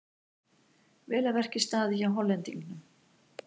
Vel að verki staðið hjá Hollendingnum.